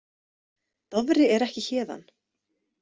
Dofri er ekki héðan.